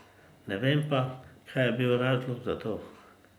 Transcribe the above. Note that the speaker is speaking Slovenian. Ne vem pa, kaj je bil razlog za to.